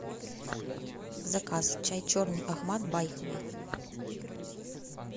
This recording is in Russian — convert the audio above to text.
заказ чай черный ахмад байховый